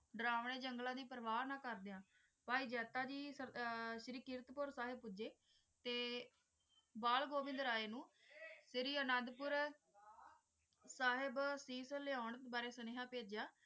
ਦਰੋਨਾਯ ਜੰਗਲਾਂ ਦੀ ਪ੍ਰਵਾਹ ਨਾ ਕਰਦੇ ਹੋਵਾਂ ਭਾਈ ਜਾਤਾ ਜੀ ਸਿਰੀ ਕੁਰਟ ਜੀ ਸਾਹਿਬ ਤੇ ਬਾਲ ਗੋਵਿੰਦਰ ਆਹੇ ਨੂੰ ਸਿਰੀ ਅਨੰਦਪੁਰ ਸਾਹਿਬ ਸੀ ਲੈ ਤਿਉਂ ਲਈ ਸੰਦੈਸ ਭੇਜਿਆ